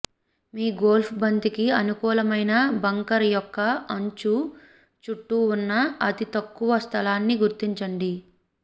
మీ golf బంతికి అనుకూలమైన bunker యొక్క అంచు చుట్టూ ఉన్న అతి తక్కువ స్థలాన్ని గుర్తించండి